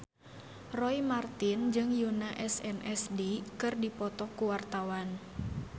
Roy Marten jeung Yoona SNSD keur dipoto ku wartawan